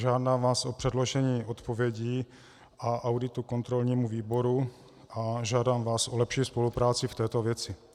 Žádám vás o předložení odpovědí a auditu kontrolnímu výboru a žádám vás o lepší spolupráci v této věci.